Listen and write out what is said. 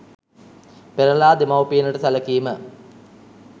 පෙරලා දෙමවුපියනට සැලකීම